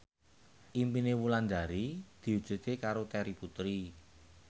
impine Wulandari diwujudke karo Terry Putri